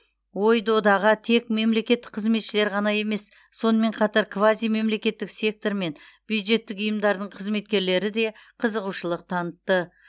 ой додаға тек мемлекеттік қызметшілер ғана емес сонымен қатар квазимемлекеттік сектор мен бюджеттік ұйымдардың қызметкерлері де қызығушылық танытты